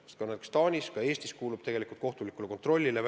Nii Taanis kui ka Eestis on väljaandmisprotseduur allutatud kohtulikule kontrollile.